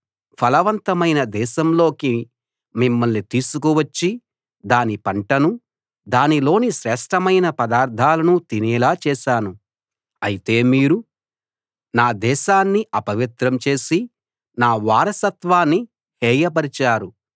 ఫలవంతమైన దేశంలోకి మిమ్మల్ని తీసుకువచ్చి దాని పంటను దానిలోని శ్రేష్ఠమైన పదార్థాలను తినేలా చేశాను అయితే మీరు నా దేశాన్ని అపవిత్రం చేసి నా వారసత్వాన్ని హేయపరిచారు